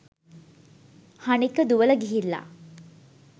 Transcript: හනික දුවල ගිහිල්ල